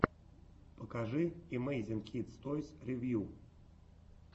покажи эмейзинг кидс тойс ревью